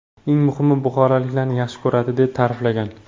Eng muhimi, buxoroliklarni yaxshi ko‘radi”, deb ta’riflagan.